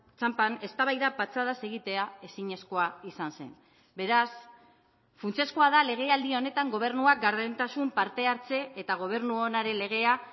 txanpan eztabaida patxadaz egitea ezinezkoa izan zen beraz funtsezkoa da legealdi honetan gobernua gardentasun partehartze eta gobernu onaren legea